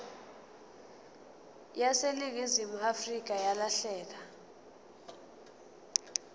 yaseningizimu afrika yalahleka